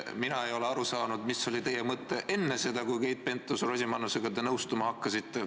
Mina ei ole aru saanud, mis oli teie mõte enne seda, kui te Keit Pentus-Rosimannusega nõustuma hakkasite.